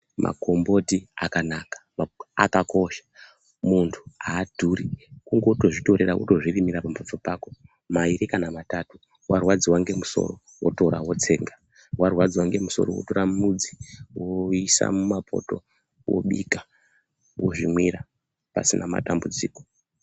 Magomboti akanaka, akakosha. Munthu aadhuri. Kungotozvitorera wotozvirimira pamhatso pako mairi kana matatu. Warwadziwa ngemusoroo wotora wotsenga. Warwadziwa ngemusoroo wotora mudzi woisa mumapoto, wobika ,wozvimwira pasina matambudziko.